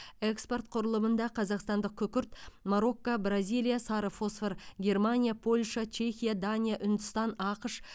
экспорт құрылымында қазақстандық күкірт марокко бразилия сары фосфор германия польша чехия дания үндістан ақш